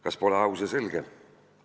" Kas pole aus ja selge?